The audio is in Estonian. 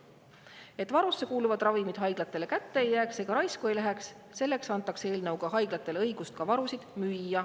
Et varusse kuuluvad ravimid haiglatele kätte ei jääks ega raisku ei läheks, selleks antakse eelnõuga haiglatele õigus ka varusid müüa.